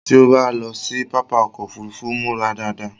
Tí ó bá ń lọ sí pápá ọkọ òfúrúúfú, múra dáadáa